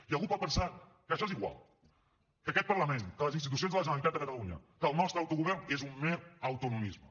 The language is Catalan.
i algú pot pensar que això és igual que aquest parlament que les institucions de la generalitat de catalunya que el nostre autogovern és un mer autonomisme